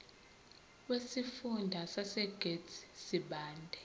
wesifunda sasegert sibande